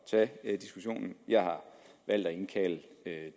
tage diskussionen jeg har valgt at indkalde